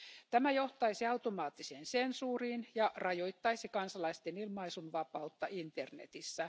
Tämä johtaisi automaattiseen sensuuriin ja rajoittaisi kansalaisten ilmaisunvapautta internetissä.